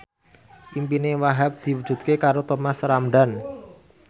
impine Wahhab diwujudke karo Thomas Ramdhan